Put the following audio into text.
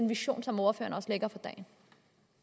vision som ordføreren